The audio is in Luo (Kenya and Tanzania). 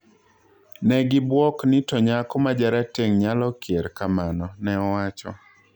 "Negibwok ni to nyako majarateng nyalokier kamano",ne owacho